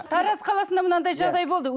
тараз қаласында мынадай жағдай болды